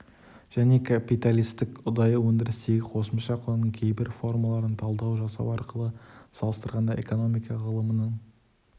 және капиталистік ұдайы өндірістегі қосымша құның кейбір формаларына талдау жасау арқылы салыстырғанда экономика ғылымының